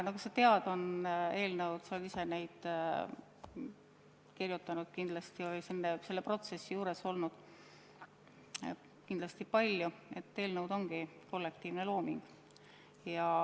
Nagu sa tead, eelnõud on – sa oled ise ka kindlasti neid kirjutanud või vähemalt selle protsessi juures olnud – kollektiivne looming.